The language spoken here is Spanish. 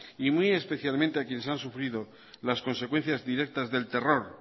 y muy especialmente a quienes han sufrido las consecuencias directas del terror